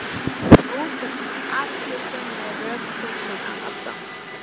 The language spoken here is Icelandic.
Nú þarf hún á allri sinni rökhugsun að halda.